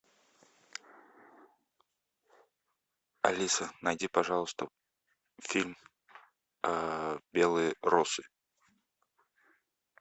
алиса найди пожалуйста фильм белые росы